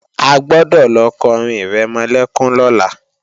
A gbọ́dọ̀ lọ kọrin ìrẹmọlẹ́kún lọ́la!